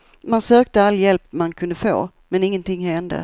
Man sökte all hjälp man kunde få, men ingenting hände.